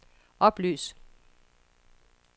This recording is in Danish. oplys